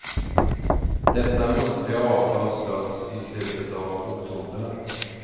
Detta muntliga avtal slöts i slutet av oktober.